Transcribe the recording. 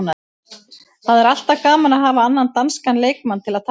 Það er alltaf gaman að hafa annan danskan leikmann til að tala við.